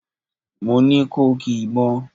Mo ni ko ki ìbọn!